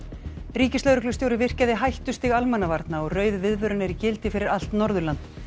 ríkislögreglustjóri virkjaði hættustig almannavarna og rauð viðvörun er í gildi fyrir allt Norðurland